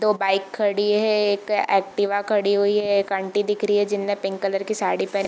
दो बाइक खड़ी है एक एक्टिवा खड़ी हुई है एक आंटी दिख रही है जिन्होंने पिंक कलर की साड़ी पहन --